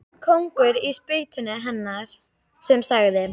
Kóngur á spýtunni hennar sem sagði